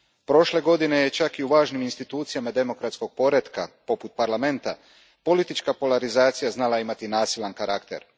Prošle godine je čak i u važnim institucijama demokratskog poretka, poput Parlamenta, politička polarizacija znala imati nasilan karakter.